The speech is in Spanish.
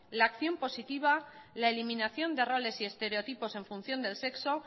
la acción positiva la eliminación de roles y estereotipos en función del sexo